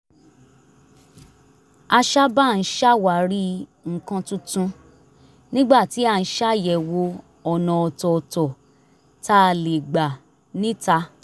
a sábà ń ṣàwárí nǹkan tuntun nígbà tí a ń ṣàyẹ̀wò ọ̀nà ọ̀tọ̀ọ̀tọ̀ tá a lè gbà níta